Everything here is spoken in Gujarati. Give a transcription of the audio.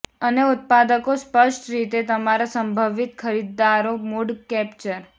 અને ઉત્પાદકો સ્પષ્ટ રીતે તમારા સંભવિત ખરીદદારો મૂડ કેપ્ચર